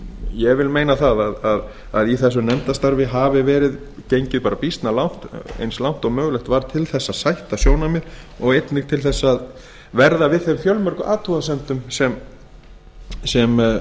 ég vil meina að í þessu nefndarstarfi hafi verið gengið bara býsna langt eins langt og mögulegt var til þess að sætta sjónarmið og einnig til þess að verða við þeim fjölmörgu athugasemdum sem